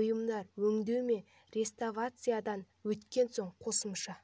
бұйымдар өңдеу мен реставрациядан өткен соң қосымша